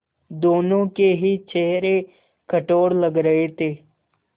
दोनों के ही चेहरे कठोर लग रहे थे